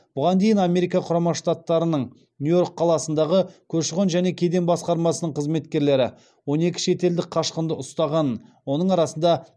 бұған дейін америка құрама штаттарының нью йорк қаласындағы көші қон және кеден басқармасының қызметкерлері он екі шетелдік қашқынды ұстағанын оның арасында